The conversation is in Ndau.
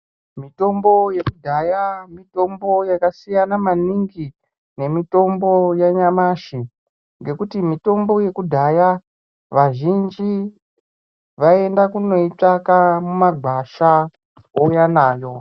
Mitombo yekudhaya mitombo yakasiyana maningi nemitombo yanyamashi ngekuti mitombo yekudhaya vazhinji vaienda kunoitsvaka mumagwasha kuuya nayo.